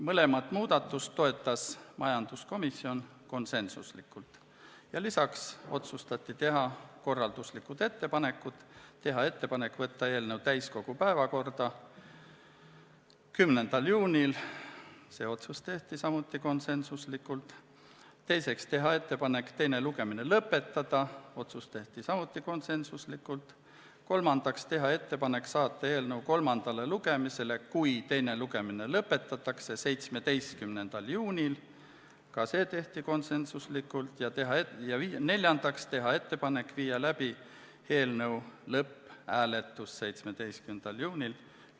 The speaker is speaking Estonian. Mõlemat muudatust toetas majanduskomisjon konsensuslikult ja lisaks otsustati teha järgmised korralduslikud ettepanekud: esiteks, teha ettepanek võtta eelnõu täiskogu päevakorda 10. juuniks , teiseks, teha ettepanek teine lugemine lõpetada , kolmandaks, teha ettepanek saata eelnõu kolmandale lugemisele, kui teine lugemine lõpetatakse, 17. juuniks , ja neljandaks, teha ettepanek viia läbi eelnõu lõpphääletus 17. juunil .